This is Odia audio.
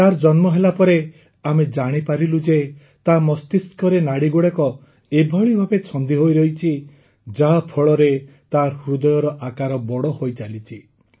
ତାର ଜନ୍ମ ହେଲା ପରେ ଆମେ ଜାଣିପାରିଲୁ ଯେ ତା ମସ୍ତିଷ୍କରେ ନାଡ଼ିଗୁଡ଼ିକ ଏଭଳି ଭାବେ ଛନ୍ଦି ହୋଇରହିଛି ଯାହାଫଳରେ ତାର ହୃଦୟର ଆକାର ବଡ଼ ହୋଇଚାଲିଛି